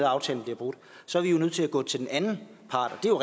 aftalen bliver brudt så er vi nødt til at gå til den anden part det er